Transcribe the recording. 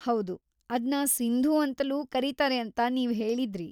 ಹೌದು, ಅದ್ನ ಸಿಂಧೂ ಅಂತಲೂ ಕರೀತಾರೆ ಅಂತ ನೀವ್‌ ಹೇಳಿದ್ರಿ.